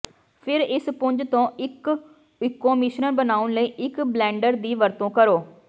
ਫਿਰ ਇਸ ਪੁੰਜ ਤੋਂ ਇੱਕ ਇਕੋ ਮਿਸ਼ਰਣ ਬਣਾਉਣ ਲਈ ਇੱਕ ਬਲੈਨਡਰ ਦੀ ਵਰਤੋਂ ਕਰੋ